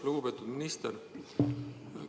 Lugupeetud minister!